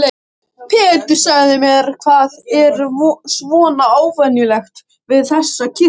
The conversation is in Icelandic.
Pétur, segðu mér, hvað er svona óvenjulegt við þessa kirkju?